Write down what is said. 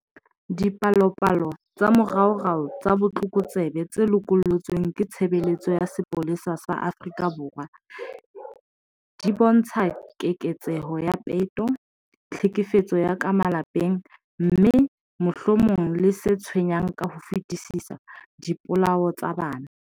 Dipalopalo tsa moraorao tsa botlokotsebe tse lokollotsweng ke Tshebeletso ya Sepolesa sa Afrika Borwa di bontsha keketseho ya peto, tlhekefetso ya ka malapeng, mme, mohlomong le se tshwenyang ka ho fetisisa, dipolao tsa bana.